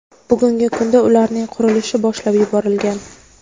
Bugungi kunda ularning qurilishi boshlab yuborilgan.